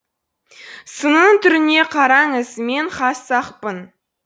сынының түріне қараңыз мен хас сақпын